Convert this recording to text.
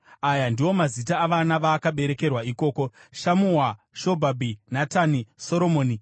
Aya ndiwo mazita avana vaakaberekerwa ikoko: Shamua, Shobhabhi, Natani, Soromoni,